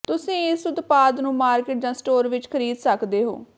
ਤੁਸੀਂ ਇਸ ਉਤਪਾਦ ਨੂੰ ਮਾਰਕੀਟ ਜਾਂ ਸਟੋਰ ਵਿਚ ਖਰੀਦ ਸਕਦੇ ਹੋ